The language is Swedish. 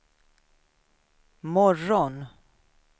morgon